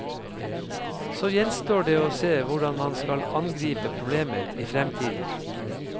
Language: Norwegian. Så gjenstår det å se hvordan man skal angripe problemet i fremtiden.